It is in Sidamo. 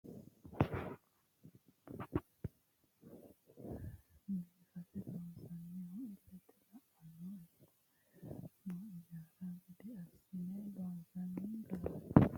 Biifisa kuni misilete aana leellanni afamannonkehu lowo geeshsha assine biifinse loonsoonnihu illete la"ateno ikko heerateno injaanno gede assine loonsoonni dargaati